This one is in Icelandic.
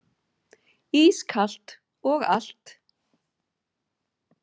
Ískalt og allt.